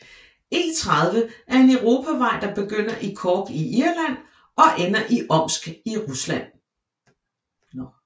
E30 er en europavej der begynder i Cork i Irland og ender i Omsk i Rusland